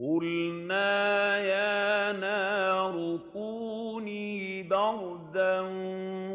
قُلْنَا يَا نَارُ كُونِي بَرْدًا